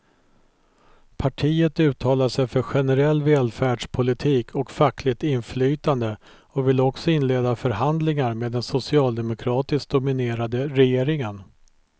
Partiet uttalar sig för generell välfärdspolitik och fackligt inflytande och vill också inleda förhandlingar med den socialdemokratiskt dominerade regeringen.